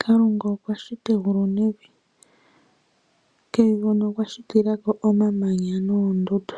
Kalunga okwa shita egulu nevi, kevi huno okwa shitila ko omamanya noondundu.